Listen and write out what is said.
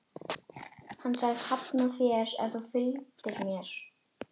Hann sagðist hafna þér ef þú fylgdir mér.